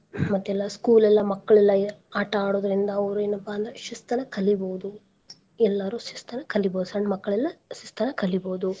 ಮತ್ತೆಲ್ಲಾ school ಎಲ್ಲಾ ಮಕ್ಳ ಎಲ್ಲಾ ಆಟಾ ಆಡೋದ್ರಿಂದ ಅವ್ರು ಎನಪಾ ಅಂದ್ರ ಶಿಸ್ತನ ಕಲಿಬೋದು, ಎಲ್ಲಾರು ಶಿಸ್ತನ ಕಲಿಬೋದು ಸಣ್ಣ ಮಕ್ಳೆಲ್ಲಾ ಶಿಸ್ತನ ಕಲಿಬೋದು.